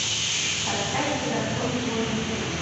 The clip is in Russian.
поставь закон бойни